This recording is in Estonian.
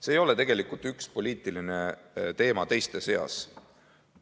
See ei ole tegelikult üks poliitiline teema teiste seas.